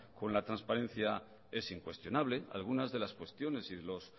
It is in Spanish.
con la trasparencia es incuestionable algunas de las cuestiones y los